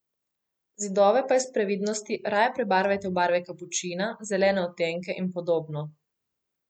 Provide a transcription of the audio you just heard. Zidove pa iz previdnosti raje prebarvajte v barve kapučina, zelene odtenke in podobno.